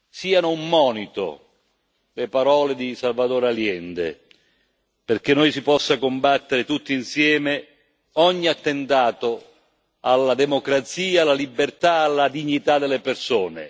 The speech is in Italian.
Siano un monito le parole di Salvador Allende, perché noi si possa combattere tutti insieme ogni attentato alla democrazia, alla libertà, alla dignità delle persone.